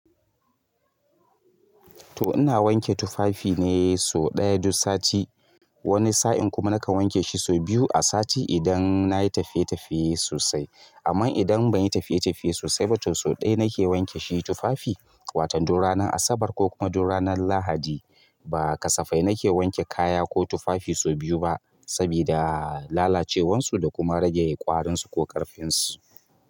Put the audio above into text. To ina wanke tufafi ne sau ɗaya duk sati. Wani sa'in kuma nakan wanke shi sau biyu a sati idan nayi tafiye tafiye sosai. Amma idan ban yi tafiye-tafiye sosai ba, to sau ɗaya na ke wanke shi tufafi. Wato duk ranar Asabar ko kuma duk ranar Lahadi ba kasafai na ke wanke kaya ko tufafi sau biyu ba, sabida lalacewarsu da kuma rage ƙwarinsu ko ƙarfinsu.